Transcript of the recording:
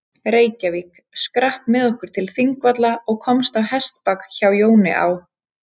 Reykjavík, skrapp með okkur til Þingvalla og komst á hestbak hjá Jóni á